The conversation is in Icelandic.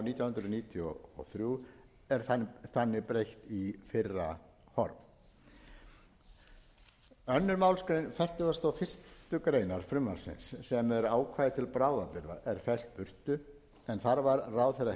hundruð níutíu og þrjú er þannig breytt í fyrra horf annarri málsgrein fertugustu og fyrstu grein frumvarpsins sem er ákvæði til bráðabirgða er felld burtu en þar var ráðherra heimilt